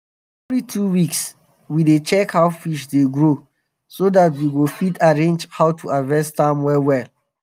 na evri two weeks we dey check how fish dey grow so dat we go fit arrange how to harvest am well.